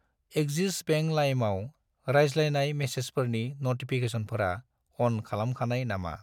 Axis Bank लाइमआव रायज्लायनाय मेसेजफोरनि नटिफिकेसनफोरा अन खालामखानाय नामा?